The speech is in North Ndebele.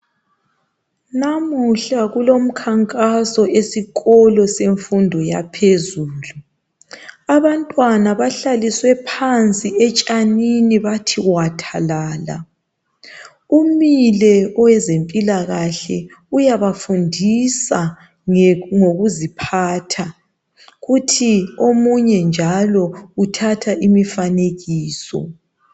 Namuhla kulomkhankaso esikolo semfundo yaphezulu. Abantwana bahlaliswe phansi etshanini bathi wathalala. Umile owezempilakahle uyabafundisa ngokuziphatha. Kuthi omunye njalo uthatha imifanekiso.